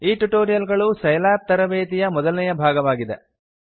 ಈ ಟ್ಯುಟೋರಿಯಲ್ ಗಳು ಸೈಲ್ಯಾಬ್ ತರಬೇತಿಯ ಮೊದಲನೇ ಭಾಗವಾಗಿದೆ